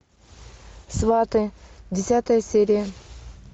сваты десятая серия